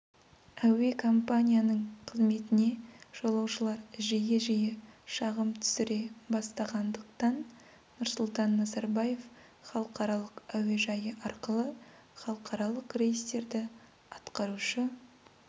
әуе компанияның қызметіне жолаушылар жиі-жиі шағым түсіре бастағандықтан нұрсұлтан назарбаев халықаралық әуежайы арқылы халықаралық рейстерді атқарушы